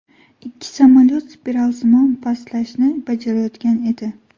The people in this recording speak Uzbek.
Ikki samolyot spiralsimon pastlashni bajarayotgan edi.